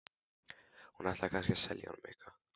Hún ætlaði kannski að selja honum eitthvað.